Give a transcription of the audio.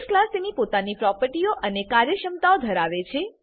base class તેની પોતાની પ્રોપર્ટીઓ અને કાર્યક્ષમતા ધરાવે છે